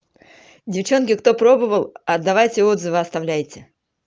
девчонки кто пробовал отдавайте отзывы оставляйте